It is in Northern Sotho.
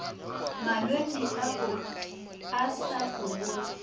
malwetši ao a sa folego